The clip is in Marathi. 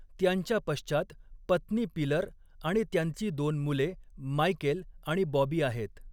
त्यांच्या पश्चात पत्नी पिलर आणि त्यांची दोन मुले मायकेल आणि बॉबी आहेत.